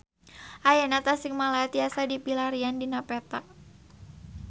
Ayeuna Tasikmalaya tiasa dipilarian dina peta